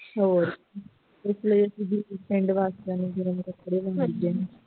ਹੋਰ ਇਕ ਸੀਗੀ ਇਕ ਆਵਾਜ਼ ਪੈਣੀ